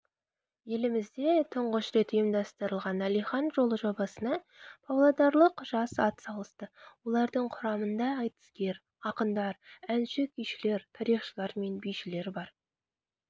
елімізде тұңғыш рет ұйымдастырылған әлихан жолы жобасына павлодарлық жас атсалысты олардың құрамында айтыскер ақындар әнші-күйшілер тарихшылар мен бишілер бар